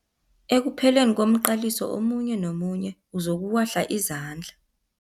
Ekupheleni komqaliso omunye nomunye uzokuwahla izandla.